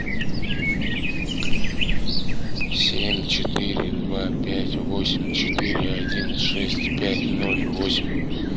семь четыре два пять восемь четыре один шесть пять ноль восемь